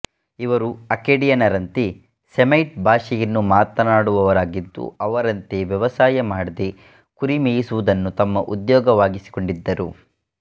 ಇವರು ಅಕ್ಕೇಡಿಯನ್ನರಂತೆ ಸೆಮೈಟ್ ಭಾಷೆಯನ್ನು ಮಾತನಾಡುವವರಾಗಿದ್ದು ಅವರಂತೆ ವ್ಯವಸಾಯ ಮಾಡದೆ ಕುರಿ ಮೇಯಿಸುವುದನ್ನು ತಮ್ಮ ಉದ್ಯೋಗವಾಗಿಸಿಕೊಂಡಿದ್ದರು